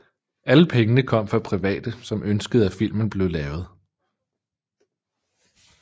Alle pengene kom fra private som ønskede at filmen blev lavet